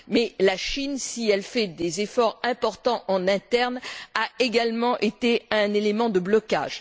Mais la Chine, si elle fait des efforts importants en interne, a également constitué un élément de blocage.